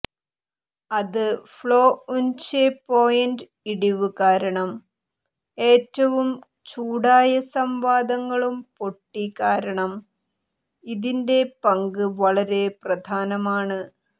അത് ഫ്ലൊഉന്ചെ പോയിന്റ് ഇടിവ് കാരണം ഏറ്റവും ചൂടായ സംവാദങ്ങളും പൊട്ടി കാരണം ഇതിന്റെ പങ്ക് വളരെ പ്രധാനമാണ്